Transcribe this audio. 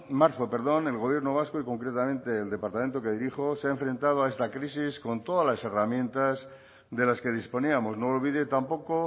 marzo perdón el gobierno vasco y concretamente el departamento que dirijo se ha enfrentado a esta crisis con todas las herramientas de las que disponíamos no olvide tampoco